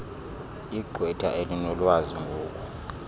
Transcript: igqwetha elinolwazi ngoku